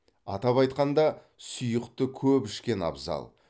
атап айтқанда сұйықты көп ішкен абзал